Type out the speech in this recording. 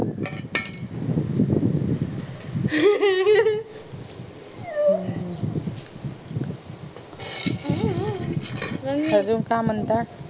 अजून काय म्हणता